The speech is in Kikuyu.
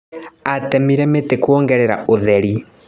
Atemire mĩtĩ kuongerera ũtheri.